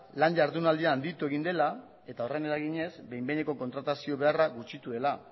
lan jardunaldia handitu egin dela eta horren eraginez behin behineko kontratazio beharra gutxitu dela